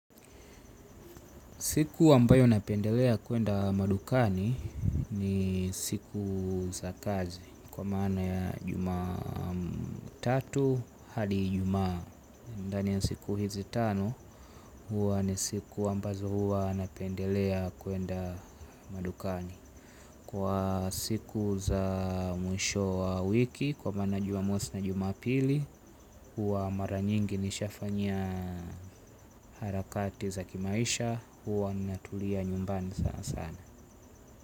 Siku wambayo napendelea kuenda madukani ni siku za kazi. Kwa maana ya juma tatu hadi ijumaa ndani ya siku hizi tano huwa ni siku ambazo huwa napendelea kuenda madukani. Kwa siku za mwisho wa wiki kwa maana jumamosi na jumapili uwa mara nyingi nishafanya harakati za kimaisha. Uwa natulia nyumbani sana sana.